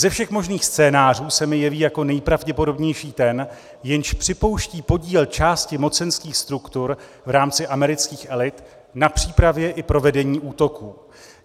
Ze všech možných scénářů se mi jeví jako nejpravděpodobnější ten, jenž připouští podíl části mocenských struktur v rámci amerických elit na přípravě i provedení útoků.